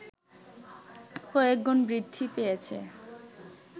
কয়েকগুণ বৃদ্ধি পেয়েছে